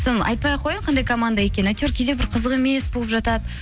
соны айтпай ақ қояйын қандай команда екенін әйтеуір кейде бір қызық емес болып жатады